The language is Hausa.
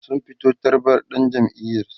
sun fito tarbar dan jam'iyar su